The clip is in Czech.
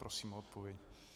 Prosím o odpověď.